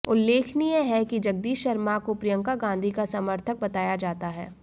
उल्लेखनीय है कि जगदीश शर्मा को प्रियंका गाधी का समर्थक बताया जाता है